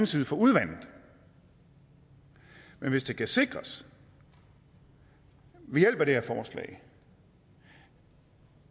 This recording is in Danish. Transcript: side for udvandet men hvis det kan sikres ved hjælp af det her forslag